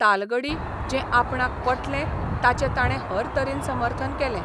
तालगडी जें आपणाक पटलें ताचे ताणें हरतरेन समर्थन केलें.